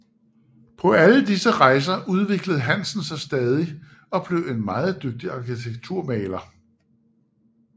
På alle disse rejser udviklede Hansen sig stadig og blev en meget dygtig arkitekturmaler